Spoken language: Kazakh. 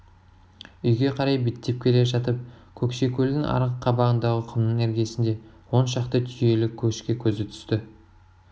үйге қарай беттеп келе жатып көкшекөлдің арғы қабағындағы құмның іргесінде он шақты түйелі көшке көзі түсті